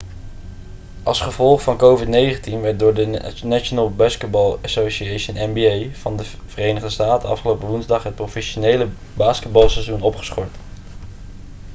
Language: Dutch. als gevolg van covid-19 werd door de national basketball association nba van de verenigde staten afgelopen woensdag het professionele basketbalseizoen opgeschort